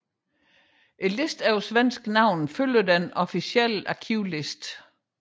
Listen over svenske navne følger den officielle arkivliste